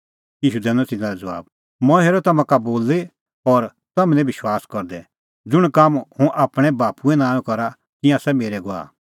ईशू दैनअ तिन्नां लै ज़बाब मंऐं हेरअ तम्हां का बोली और तम्हैं निं विश्वास करदै ज़ुंण काम हुंह आपणैं बाप्पूए नांओंए करा तिंयां आसा मेरै गवाह